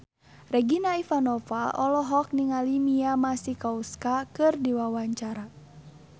Regina Ivanova olohok ningali Mia Masikowska keur diwawancara